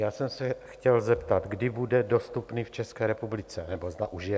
Já jsem se chtěl zeptat, kdy bude dostupný v České republice, nebo zda už je.